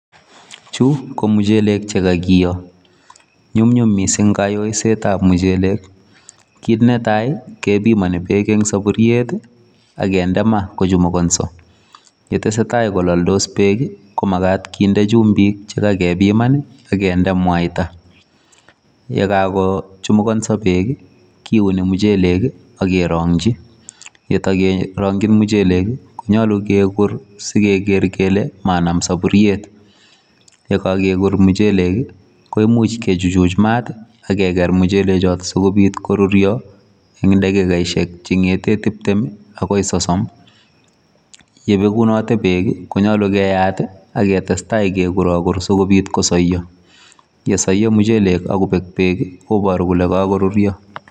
Chu ko muchelek che kagiyo. Nyumnyum mising kayoisietab muchelek. Kit netai kebimoni beek en soboriet ak kinde ma kochumugonso ye tesetai kolaldos beek komagat kinde chumbik che kagebiman ak kinde mwaita. Ye kagochumugonso beek kiuni muchelek ak kerongi, ye togerongi muchelek konyolu kegur si keger kele manam soburiet. Ye kogekur muchelek koimuch kichuchuj maat ak keger muchelechoto asi kobiit koruryo en dakikosiek che ng'ete tibtem agoi sosom. Ye begunote beek, ko nyolu keyaat ak ketestai kegurogur asikobit kosoiyo. Ye soiyo muchelek ak kobek beek, koboru kole kagoruryo.